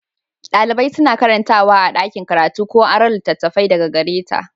Dalibai suna karantawa a ɗakin karatu ko aron littattafai daga gare ta.